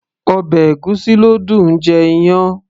ọbẹ̀ ègúsí ló dùn -un jẹ iyán